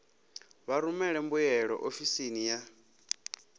vha rumele mbuyelo ofisini ya